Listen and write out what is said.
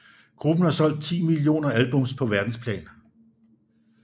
Gruppen har solgt 10 millioner albums på verdensplan